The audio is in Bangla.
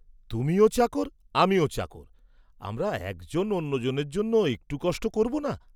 তুমিও চাকর, আমিও চাকর, আমরা একজন অন্যজনের জন্য একটু কষ্ট করব না?